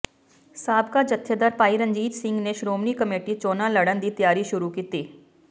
ਸਾਬਕਾ ਜਥੇਦਾਰ ਭਾਈ ਰਣਜੀਤ ਸਿੰਘ ਨੇ ਸ਼੍ਰੋਮਣੀ ਕਮੇਟੀ ਚੋਣਾਂ ਲੜ੍ਹਨ ਦੀ ਤਿਆਰੀ ਸ਼ੁਰੂ ਕੀਤੀ